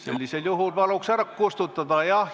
Sellisel juhul paluks ära kustutada.